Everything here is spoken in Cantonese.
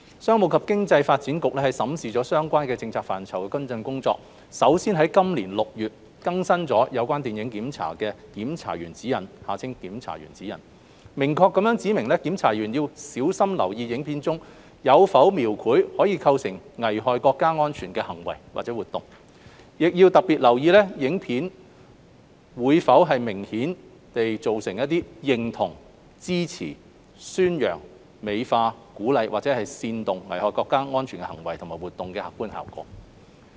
商務及經濟發展局審視了相關政策範疇的跟進工作，首先在今年6月已經更新了《有關電影檢查的檢查員指引》，明確指明檢查員要小心留意影片中有否描繪可能構成危害國家安全的行為或活動，亦要特別留意影片會否明顯造成認同、支持、宣揚、美化、鼓勵或煽動危害國家安全的行為或活動的客觀效果。